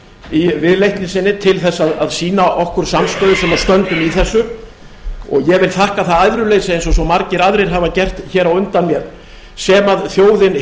í viðleitni sinni til þess að sýna okkur samstöðu sem stöndum í þessu og ég vil þakka það æðruleysið eins og svo margir aðrir hafa gert hér á undan mér sem þjóðin